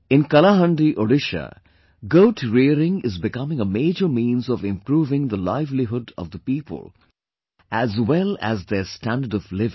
In Kalahandi, Odisha, goat rearing is becoming a major means of improving the livelihood of the village people as well as their standard of living